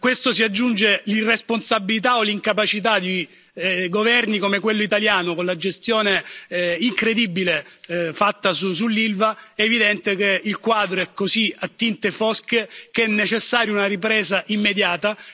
Se a questo si aggiunge l'irresponsabilità o l'incapacità di governi come quello italiano, con la gestione incredibile fatta sull'Ilva, è evidente che il quadro è così a tinte fosche che è necessaria una ripresa immediata.